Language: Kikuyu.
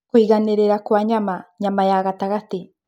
Kũiganĩrĩra kwa nyama (nyama ya gatagatĩ)